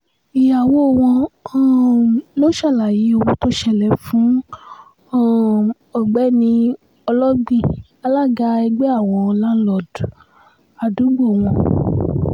ìyàwó wọn um lóò ṣàlàyé ohun tó ṣẹlẹ̀ fún um ọ̀gbẹ́ni ọlọ́gbìn alága ẹgbẹ́ àwọn láńlọ́ọ̀dù àdúgbò wọn